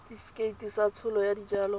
setefikeiti sa tsholo ya dijalo